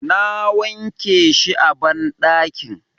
Na wanke shi a banɗakin.